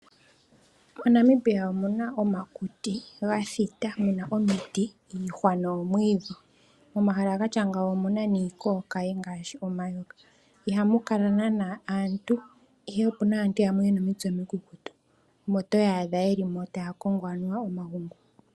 MoNamibia omuna omakuti, ga thita muna omiti iihwa nomwiidhi. Omahala gatya ngawo ohamu kala iikookaye ngaashi omayoka, ihamu kala naana aantu ihe opuna aantu yamwe yena omitse omikukutu omo toyaadha moka anuwa taa kongo omagungu.